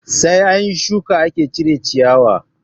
Sai anyi shuka ake cire ciyawa